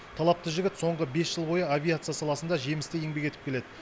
талапты жігіт соңғы бес жыл бойы авиация саласында жемісті еңбек етіп келеді